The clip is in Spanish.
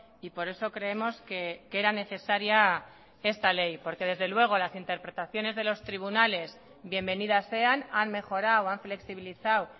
y por eso creemos que era necesaria esta ley porque desde luego las interpretaciones de los tribunales bienvenidas sean han mejorado han flexibilizado